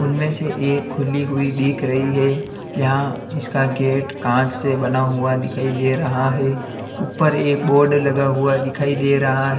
में से एक खुली हुई दिख रही है जहां इसका गेट कांच से बना हुआ दिखाई दे रहा है ऊपर एक बोर्ड लगा हुआ दिखाई दे रहा है।